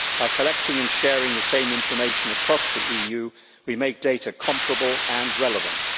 By collecting and sharing the same information across the EU we make data comparable and relevant.